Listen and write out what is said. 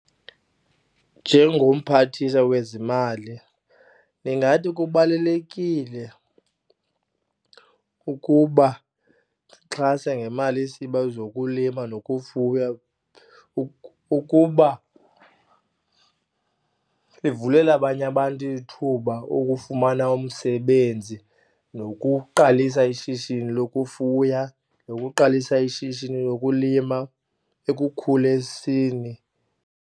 Njengomphathiswa wezimali, ndingathi kubalulekile ukuba ndixhase ngemali yesebe zokulima nokufuya ukuba livulele abanye abantu ithuba okufumana umsebenzi nokuqalisa ishishini lokufuya nokuqalisa ishishini lokulima ekukhuliseni.